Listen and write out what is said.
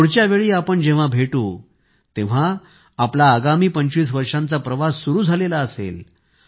पुढच्या वेळी आपण जेव्हा भेटू तेव्हा आपला आगामी 25 वर्षांचा प्रवास सुरु झालेला असेल